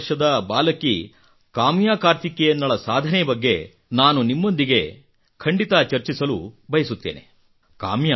ಹನ್ನೆರಡು ವರ್ಷದ ಬಾಲಕಿ ಕಾಮ್ಯಾ ಕಾರ್ತಿಕೇಯನ್ನಳ ಸಾಧನೆ ಬಗ್ಗೆ ನಾನು ನಿಮ್ಮೊಂದಿಗೆ ಖಂಡಿತಾ ಚರ್ಚಿಸಲು ಬಯಸುತ್ತೇನೆ